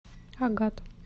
агат